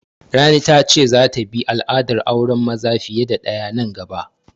Rani ta ce za ta bi al'adar auren maza fiye da ɗaya nan gaba